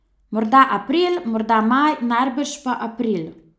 Morda april, morda maj, najbrž pa april.